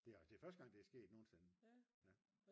det er første gang det er sket nogensinde